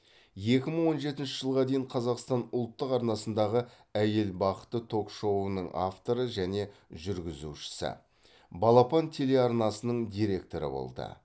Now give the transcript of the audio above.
екі мың он жетінші жылға дейін қазақстан ұлттық арнасындағы әйел бақыты ток шоуының авторы және жүргізушісі балапан телеарнасының директоры болды